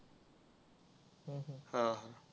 हा हा.